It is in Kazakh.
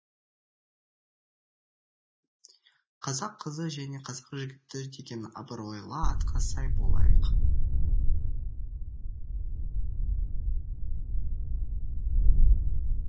қазақ қызы және қазақ жігіті деген абыройлы атқа сай болайық